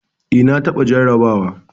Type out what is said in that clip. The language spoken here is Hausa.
Eh. na taɓa jarraba wa.